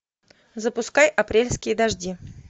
запускай апрельские дожди